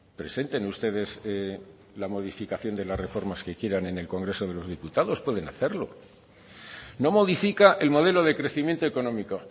presenten ustedes la modificación de las reformas que quieran en el congreso de los diputados pueden hacerlo no modifica el modelo de crecimiento económico